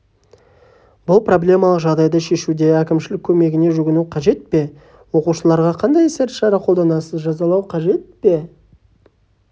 бұл проблемалық жағдайды шешуде әкімшілік көмегіне жүгіну қажет пе оқушыларға қандай іс-шара қолданасыз жазалау қажет пе